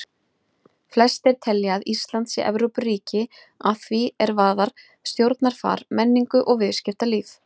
Flestir telja að Ísland sé Evrópuríki að því er varðar stjórnarfar, menningu og viðskiptalíf.